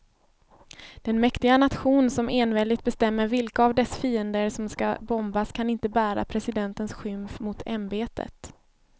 Den mäktiga nation som enväldigt bestämmer vilka av dess fiender som ska bombas kan inte bära presidentens skymf mot ämbetet.